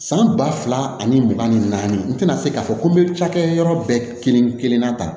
San ba fila ani mugan ni naani n tɛna se k'a fɔ ko n bɛ cakɛ yɔrɔ bɛɛ kelen-kelenna tan